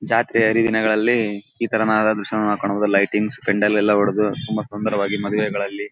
ಜಾತ್ರೆ ಹರಿ ದಿನಗಳಲ್ಲಿ ಇತರನಾದ ದೃಶ್ಯಗಳನ್ನು ಕಾಣಬಹುದು ಲೈಟಿಂಗ್ಸ್ ಪೆಂಡಾಲ್ ಲೆಲ್ಲ ಹೊಡೆದು ತುಂಬಾ ಸುಂದರವಾಗಿ ಮದುವೆಗಳಲ್ಲಿ.